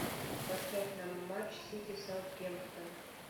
поставь нам матч сити саутгемптон